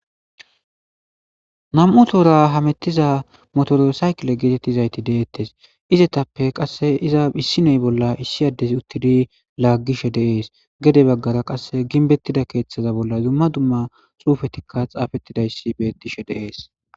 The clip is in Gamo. Nam7u toora hamettiza motoro saykile geetettizayti deettes. Izetappe qasse issinoy bolla issi addezi uttidi laaggishe de'ees. Gede baggara qasse ginbettida keeththaza bolla dumma dumma xuufetikka xaafettidayssi bettishe de'ees.